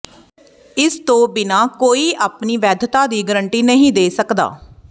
ਇਸ ਤੋਂ ਬਿਨਾਂ ਕੋਈ ਆਪਣੀ ਵੈਧਤਾ ਦੀ ਗਾਰੰਟੀ ਨਹੀਂ ਦੇ ਸਕਦਾ